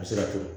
A bɛ se ka to